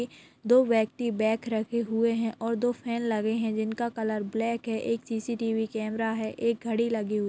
--दो व्यक्ति बैग रखे हुए है और दो फैन लगे है जिनका कलर ब्लैक है एक सिसिटिवी कैमरा है एक घड़ी लगी हुई--